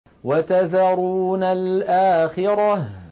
وَتَذَرُونَ الْآخِرَةَ